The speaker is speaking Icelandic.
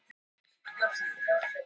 Ekkert annað kom til greina.